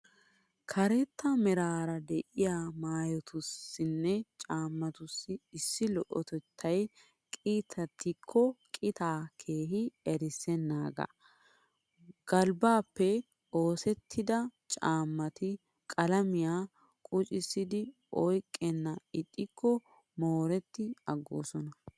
Karetta meraara de'iya maayotussinne caammatussi issi lo'otettay qitatikkokka qitaa keehi erissennaagaa. Galbbaappe oosettida caammati qalamiyan quccidi oyqqenna ixxikko mooretti aggoosona.